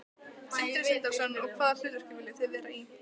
Sindri Sindrason: Og hvaða hlutverki viljið þið vera í?